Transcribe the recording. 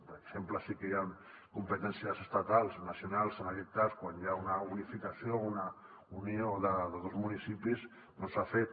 per exemple sí que hi han competències estatals nacionals en aquest cas quan hi ha una unificació o una unió de dos municipis doncs s’ha fet